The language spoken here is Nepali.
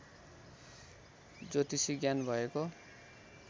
ज्योतिषी ज्ञान भएको